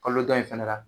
Kalo dɔ in fɛnɛ la